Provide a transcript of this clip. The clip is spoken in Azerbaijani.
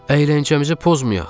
Əyləncəmizi pozmayaq.